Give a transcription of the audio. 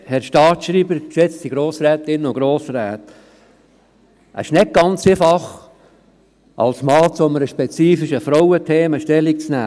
Es ist nicht ganz einfach, als Mann zu einem speifischen Frauenthema Stellung zu nehmen.